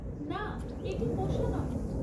না, এটি পোষা নয়।